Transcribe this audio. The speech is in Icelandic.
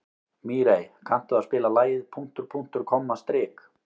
Mírey, kanntu að spila lagið „Punktur, punktur, komma, strik“?